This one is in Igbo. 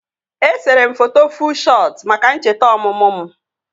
Esere m foto fuu shọt maka ncheta ọmụmụ m